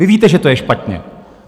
Vy víte, že to je špatně.